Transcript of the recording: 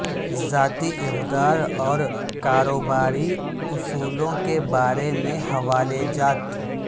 ذاتی اقدار اور کاروباری اصولوں کے بارے میں حوالہ جات